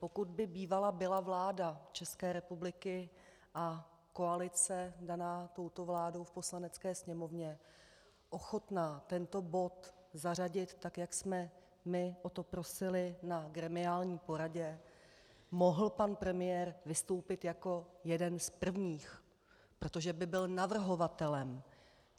Pokud by bývala byla vláda České republiky a koalice daná touto vládou v Poslanecké sněmovně ochotná tento bod zařadit, tak jak jsme my o to prosili na gremiální poradě, mohl pan premiér vystoupit jako jeden z prvních, protože by byl navrhovatelem.